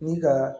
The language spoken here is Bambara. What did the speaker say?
Ni ka